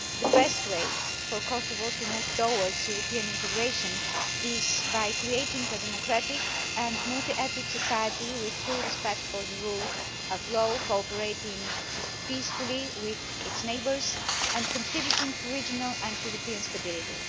The best way for Kosovo to move towards European integration is by creating a democratic and multi ethnic society, with full respect for the rule of law, cooperating peacefully with its neighbours and contributing to regional and European stability.